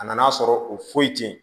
A nan'a sɔrɔ o foyi te yen